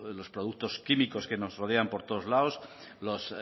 los productos químicos que nos rodean por todos los lados los